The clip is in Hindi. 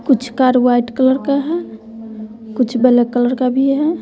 कुछ कार व्हाइट कलर का है कुछ ब्लैक कलर का भी है।